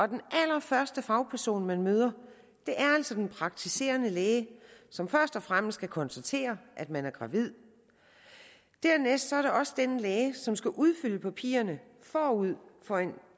den allerførste fagperson man møder er altså den praktiserende læge som først og fremmest skal konstatere at man er gravid dernæst er det også den praktiserende læge som skal udfylde papirerne forud for en